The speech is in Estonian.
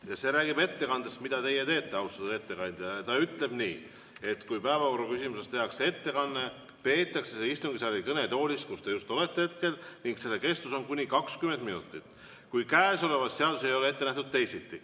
Ja see räägib ettekandest, mida teiegi praegu teete, austatud ettekandja, ja ütleb nii, et kui päevakorrapunktis tehakse ettekanne, peetakse see istungisaali kõnetoolis, kus te olete hetkel, ning see kestab kuni 20 minutit, kui käesolevas seaduses ei ole ette nähtud teisiti.